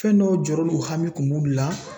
Fɛn dɔw jɔrɔ n'o hami kun b'olu la.